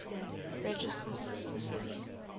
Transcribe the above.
registered sister city